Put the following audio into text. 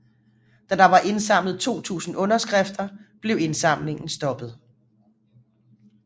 Da der var indsamlet 2000 underskrifter blev indsamlingen stoppet